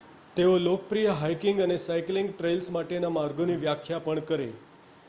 તેઓ લોકપ્રિય હાઇકિંગ અને સાઇકલિંગ ટ્રેઇલ્સ માટેના માર્ગોની વ્યાખ્યા પણ કરે